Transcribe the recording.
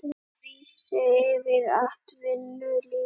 Vögguvísur yfir atvinnulífinu